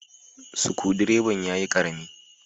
Sukudireban ya yi Karami.